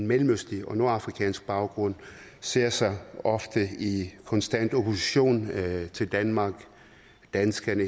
mellemøstlig eller nordafrikansk baggrund ser sig ofte i konstant opposition til danmark danskerne